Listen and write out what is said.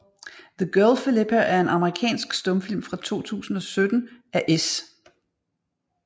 The Girl Philippa er en amerikansk stumfilm fra 1917 af S